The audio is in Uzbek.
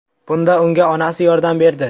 Bunda unga onasi yordam berdi.